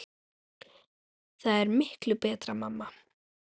Það er miklu betra mamma!